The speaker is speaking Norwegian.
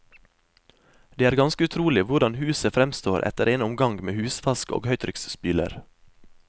Det er ganske utrolig hvordan huset fremstår etter en omgang med husvask og høytrykksspyler.